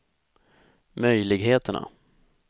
möjligheterna